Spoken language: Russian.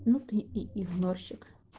ну ты и игнорщик